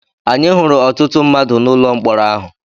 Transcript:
Anyị hụrụ ọtụtụ mmadụ n’ụlọ mkpọrọ ahụ.